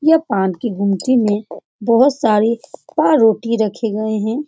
ये पान के गुमटी में बहुत सारे पावरोटी रखे गए हैं।